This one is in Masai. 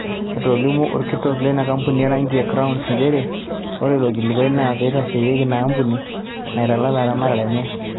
Etolimuo olkitok leina kampuni o rangi e Crowns nchere, ore ilo kilikuai naa peitasheyie ina ampuni neitalala eramatare enye.